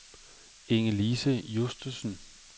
Inge-Lise Justesen